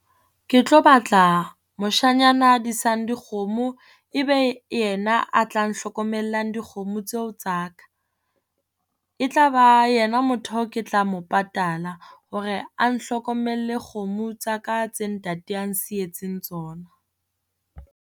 Ke tlo batla moshanyana a disang dikgomo e be yena a tla nhlokomellang dikgomo tseo tsa ka. E tla ba yena motho o ke tla mo patala hore a nhlokomelle kgomo tsa ka tse ntate a nsietseng tsona.